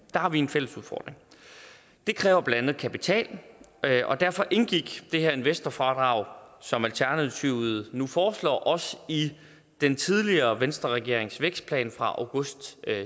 har vi en fælles udfordring det kræver blandt andet kapital og derfor indgik det her investorfradrag som alternativet nu foreslår også i den tidligere venstreregerings vækstplan fra august